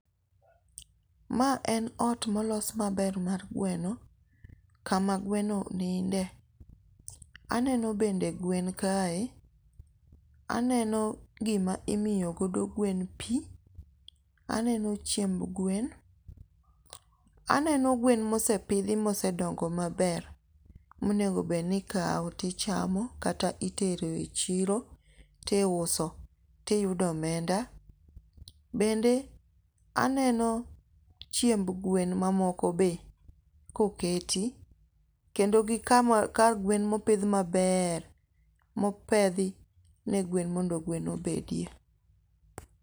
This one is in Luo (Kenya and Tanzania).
Ma en ot molos maber mar gweno, kama gweno ninde, aneno bende gwen kae, aneno gima imiyogodo gwen pi, aneno chiemb gwen, aneno gweno mosepithi moseodongo maber, monego bed ni ikawo tichamo kata itero e chiro tiuso tuyudo omenda, bende aneno chiemb gwen mamoko be koketi, kendo gi kama kar gwen ma opith maber mopethi ne gwen mondo gwen obedie.